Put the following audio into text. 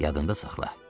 Yadında saxla: